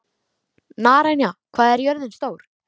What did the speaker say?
Naranja, hvað er jörðin stór?